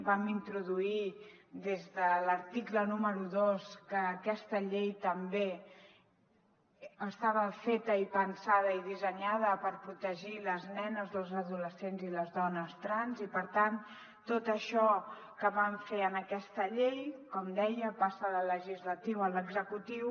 vam introduir des de l’article número dos que aquesta llei també estava feta i pensada i dissenyada per protegir les nenes les adolescents i les dones trans i per tant tot això que vam fer en aquesta llei com deia passa del legislatiu a l’executiu